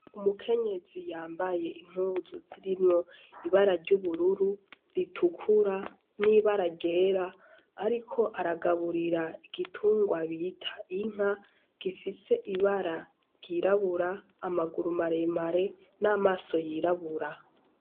Umukenyezi yambaye impuzu zirimwo ibara ryubururu, ritukura nibara ryera ariko aragaburira igitungwa bita Inka gifise ibara ryirabura amaguru maremare namaso yirabura.